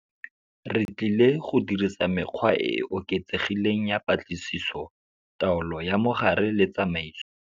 Re tlile go dirisa mekgwa e e oketsegileng ya patlisiso, taolo ya mogare le tsamaiso.